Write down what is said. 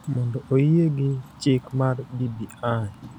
mondo oyie gi chik mar BBI,